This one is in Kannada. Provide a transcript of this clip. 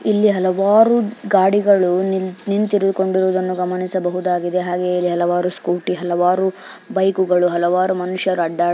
ಇಲ್ಲಿ ಹಲವಾರು ಗಾಡಿಗಳು ನಿಂತಿರುವುದನ್ನು ಗಮನಿಸಬಹುದಾಗಿದೆ ಹಾಗೆ ಇಲ್ಲಿ ಹಲವಾರು ಸ್ಕೂಟಿ ಹಲವಾರು ಬೈಕು ಗಳು ಹಲವಾರು ಮನುಷ್ಯರು ಅಡ್ಡಾಡು--